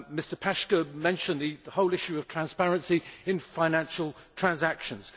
Mr Paška mentioned the whole issue of transparency in financial transactions.